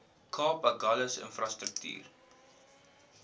kaap agulhas infrastruktuur